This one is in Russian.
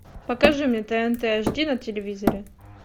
покажи мне тнт аш ди на телевизоре